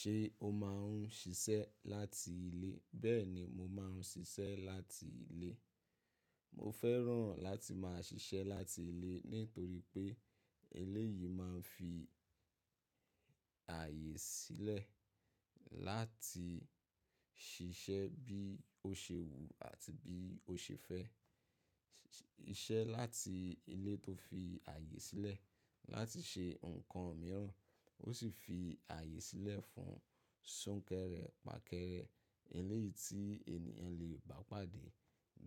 Ṣé o máa ń ṣiṣẹ́ láti ilé? Bẹ́ẹ̀ ni mo máa ń ṣiṣẹ́ láti ilé. Mo fẹ́ràn láti máa ṣiṣẹ́ láti ilé nítorí pé ilé yìí máa ń fi ààyè sílẹ̀ láti ṣiṣẹ́ bí ó ṣe wù àti bí ó ṣe fẹ́. Iṣẹ́ láti ilé tó fi ààyè sílẹ̀ láti ṣe nǹkan mìíràn, ó sì fi ààyè sílẹ̀ fún súnkẹrẹ, pàkẹrẹ. Ilé yìí tí ènìyàn lè bá pàdé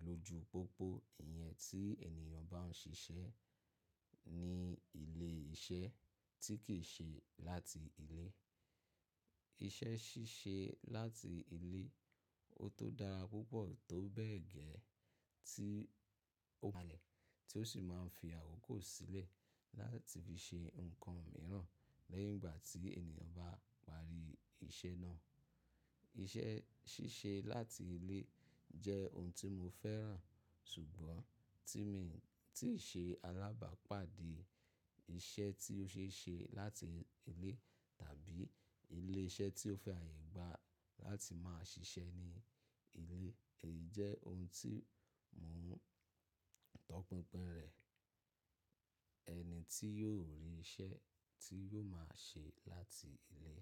ló ju gbogbo ìyẹn tí ènìyàn bá ń ṣiṣẹ́ ní ilé iṣẹ́ tí kì í ṣe láti ilé. Iṣẹ́ ṣíṣe láti ilé, ó tó dára púpọ̀ tó bẹ̀ gẹ́ẹ́ tí ó máa le, tí ó sì máa ń fi àwòkò sílẹ̀ láti fi ṣe nǹkan mìíràn lẹ́yìn ìgbà tí ènìyàn bá parí iṣẹ́ náà. Iṣẹ́ ṣíṣe láti ilé jẹ́ ohun tí mo fẹ́ràn, ṣùgbọ́n tíì ṣe alábàápàdé iṣẹ́ tí ó ṣe é ṣe láti ilé tàbí ilé iṣẹ́ tí ó fẹ́ àyè gba láti máa ṣiṣẹ́ ní ilé, èyí jẹ́ ohun tí mò ń tọpinpin rẹ̀. Ẹni tí yóò rí iṣẹ́ tí yóò máa ṣe láti ilé.